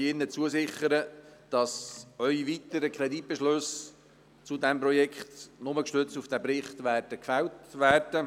Ich sichere Ihnen zu, dass Ihre weiteren Kreditbeschlüsse zu diesem Projekt nur gestützt auf diesen Bericht gefällt werden.